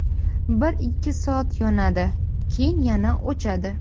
Bir–ikki soat yonadi, keyin yana o‘chadi.